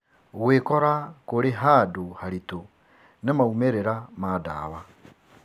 Gwĩkora kũrĩ handũ haritũ nĩ maumĩrĩra ma ndawa.